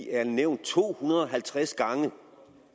er nævnt to hundrede og halvtreds gange